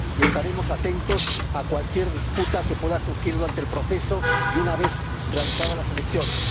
Y estaremos atentos a cualquier disputa que pueda surgir durante el proceso y una vez realizadas las elecciones.